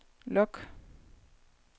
log